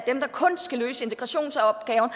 kun skal løse integrationsopgaven og